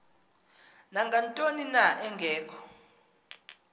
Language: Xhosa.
nangantoni na engekho